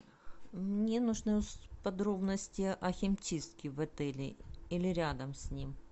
мне нужны подробности о химчистке в отеле или рядом с ним